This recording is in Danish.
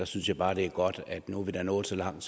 synes jeg bare at det er godt at vi nu er nået så langt